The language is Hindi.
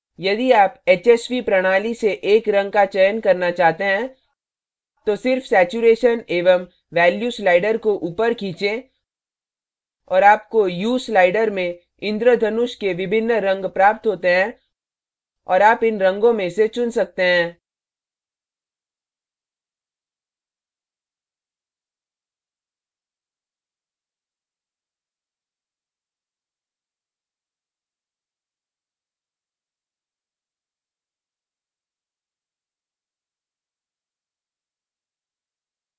यदि आप hsv प्रणाली से एक रंग का चयन करना चाहते हैं तो सिर्फ saturation saturation एवं value sliders को ऊपर खींचें और आपको hue ह्यू sliders में इन्द्रधनुष के विभिन्न रंग प्राप्त होते हैं और आप इन रंगों में से चुन सकते हैं